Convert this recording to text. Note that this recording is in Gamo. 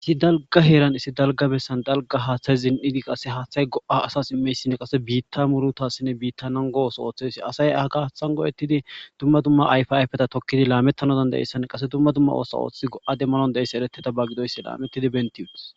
Issi dalga heeran issi dalga birsan dalga haaththay zin7idi qase haaththay go7a asas immeysinne qase biitta murutassinne biittanan go ooso ooththesi asay ha gaathan go7ettidi dumma dumma ayfa ayfeta tokkidi laamettano danda7essann qase dumma dumma oosa ooththi go7a demmanon deessi ereteta baggidoysi laamettidi bentiyudus.